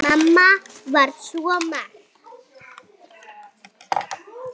Mamma var svo margt.